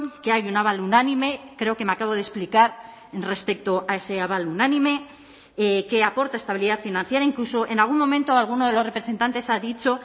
que hay un aval unánime creo que me acabo de explicar respecto a ese aval unánime que aporta estabilidad financiera incluso en algún momento alguno de los representantes ha dicho